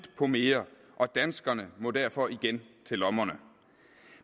på mere og danskerne må derfor igen til lommerne